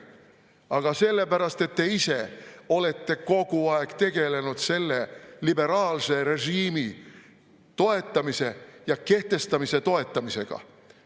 Aga sellepärast, et te ise olete kogu aeg tegelenud selle liberaalse režiimi toetamise ja kehtestamise toetamisega.